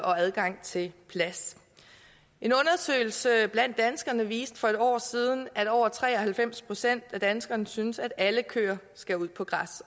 og adgang til plads en undersøgelse blandt danskerne viste for et år siden at over tre og halvfems procent af danskerne synes at alle køer skal ud på græs